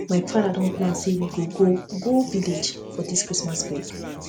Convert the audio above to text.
my father don plan say we we go go um village together for dis christmas break